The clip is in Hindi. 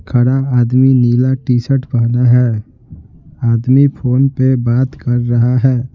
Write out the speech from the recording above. खड़ा आदमी नीला टी शर्ट पहना है आदमी फोन पे बात कर रहा है।